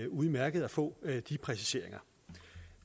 udmærket at få de præciseringer